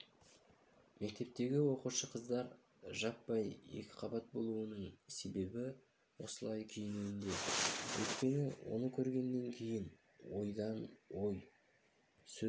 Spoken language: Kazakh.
мектептегі оқушы қыздар жаппай екіқабат болуының себебі осылай киінуінде өйткені оны көргенен кейін ой ойдан сөз